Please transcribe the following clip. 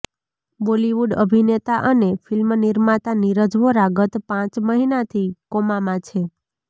બોલિવૂડ અભિનેતા અને ફિલ્મનિર્માતા નીરજ વોરા ગત પાંચ મહિનાથી કોમામાં છે